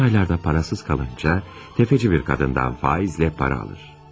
Son aylarda parasız qalınca, təfəci bir qadından faizlə para alır.